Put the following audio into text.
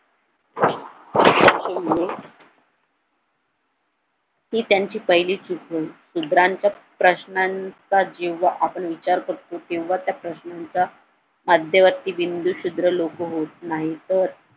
हि त्यांची पहिली चूक होय शूद्रांच्या प्रश्नांचा आपण जेवढा विचार करतो तेव्हा त्या प्रश्नांचा मध्यवर्ती बिंदू शूद्र लोक होत नाही तर